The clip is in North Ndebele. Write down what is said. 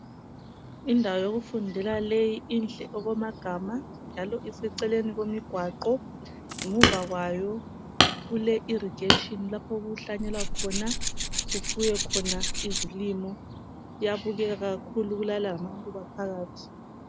Indawo yokufundela leyi inhle okwamagama njalo iseceleni komgwaqo. Ngemuva kwayo kule irrigation lapho okuhlanyelwa khona, sifuye khona izilimo. Kuyabukeka kakhulu kulalamaluba phakathi